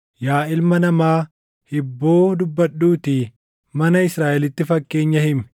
“Yaa ilma namaa, hibboo dubbadhuutii mana Israaʼelitti fakkeenya himi.